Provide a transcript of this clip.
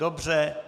Dobře.